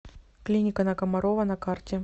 клиника на комарова на карте